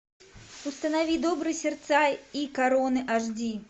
установи добрые сердца и короны аш ди